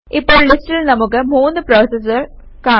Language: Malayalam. ഇപ്പോൾ ലിസ്റ്റിൽ നമുക്ക് 3 പ്രോസസസ് കാണാം